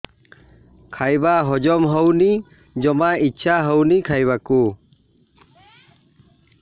ଖାଇବା ହଜମ ହଉନି ଜମା ଇଛା ହଉନି ଖାଇବାକୁ